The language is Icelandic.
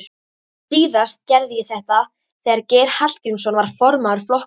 Síðast gerði ég þetta þegar Geir Hallgrímsson var formaður flokksins.